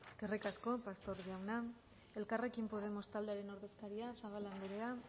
eskerrik asko pastor jauna elkarrekin podemos taldearen ordezkaria zabala andrea